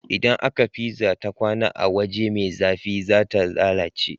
Idan aka pizza ta kwAna a waje me zafi zata lalace